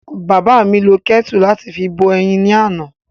Bàbá mi lo kẹ́tù láti fi bọ eyin ni àná.